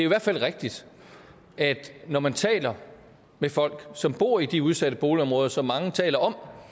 hvert fald rigtigt at når man taler med folk som bor i de udsatte boligområder som mange taler om